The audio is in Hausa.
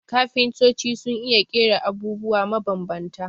Kafintoci sun iya ƙera abubwa mabambanta